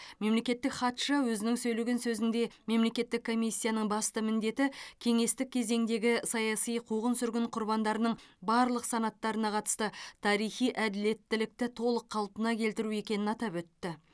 мемлекеттік хатшы өзінің сөйлеген сөзінде мемлекеттік комиссияның басты міндеті кеңестік кезеңдегі саяси қуғын сүргін құрбандарының барлық санаттарына қатысты тарихи әділеттілікті толық қалпына келтіру екенін атап өтті